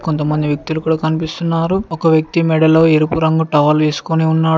కొంతమంది వ్యక్తులు కూడా కన్పిస్తున్నారు ఒక వ్యక్తి మెడలో ఎరుపు రంగు టవల్ వేసుకొని ఉన్నాడు.